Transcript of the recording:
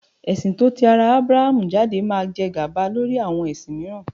Ẹ̀sin tó ti ara Aburahamu jáde máa jẹ gàba lé àwọn ẹ̀sìn mìíràn.